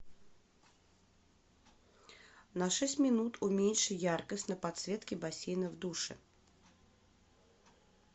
на шесть минут уменьши яркость на подсветке бассейна в душе